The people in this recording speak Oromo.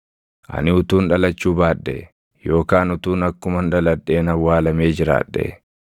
Ani utuun dhalachuu baadhee yookaan utuun akkuman dhaladheen awwaalamee jiraadhee!